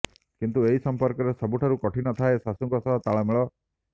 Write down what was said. କିନ୍ତୁ ଏହି ସମ୍ପର୍କରେ ସବୁଠାରୁ କଠିନ ଥାଏ ଶାଶୁଙ୍କ ସହ ତାଳମେଳ